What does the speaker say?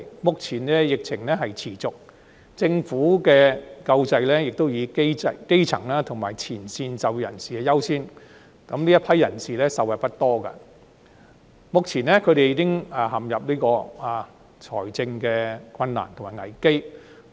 目前疫情持續，政府的救濟亦以基層及前線就業人士優先，故此這一批自僱人士受惠不多，他們目前已陷入財政困難及危機。